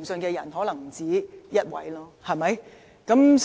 去誠信的又豈止一人？